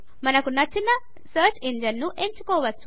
మనకు నచ్చిన సర్చ్ ఇంజన్ను ఎంచుకోవచ్చు